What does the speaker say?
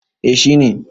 eh shi ne